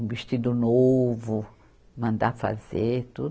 Um vestido novo, mandar fazer, tudo.